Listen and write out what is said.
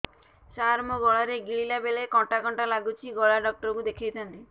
ସାର ମୋ ଗଳା ରେ ଗିଳିଲା ବେଲେ କଣ୍ଟା କଣ୍ଟା ଲାଗୁଛି ଗଳା ଡକ୍ଟର କୁ ଦେଖାଇ ଥାନ୍ତି